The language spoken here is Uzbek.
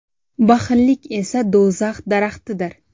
Baxillik esa do‘zax daraxtidir.